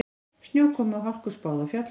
Snjókomu og hálku spáð á fjallvegum